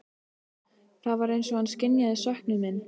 Það var eins og hann skynjaði söknuð minn.